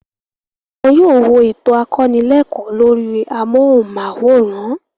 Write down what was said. Wọn yóò wo ètò akọnílẹ́ẹ̀kọ́ lórí amóhùnmáwòrán.